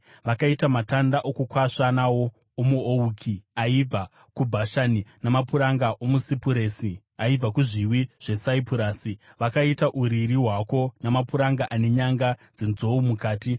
Vakaita matanda okukwasva nawo omuouki aibva kuBhashani; namapuranga omusipuresi aibva kuzviwi zveSaipurasi vakaita uriri hwako namapuranga, ane nyanga dzenzou mukati.